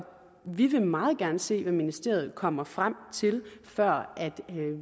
vi vil meget gerne se hvad ministeriet kommer frem til før